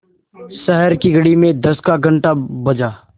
शहर की घड़ी में दस का घण्टा बजा